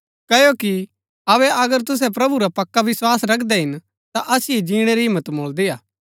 क्ओकि अबै अगर तुसै प्रभु पुर पक्का विस्वास रखदै हिन्‍न ता असिओ जिणै री हिम्मत मुळदी हा